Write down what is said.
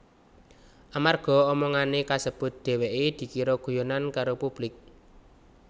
Amarga omongané kasebut dheweké dikira guyonan karo publik